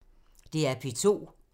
DR P2